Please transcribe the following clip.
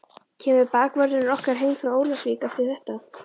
Kemur bakvörðurinn okkar heim frá Ólafsvík eftir þetta?